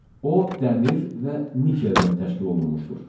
O dəmir və nikeldən təşkil olunmuşdur.